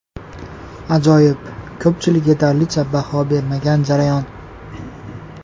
Ajoyib, ko‘pchilik yetarlicha baho bermagan jarayon.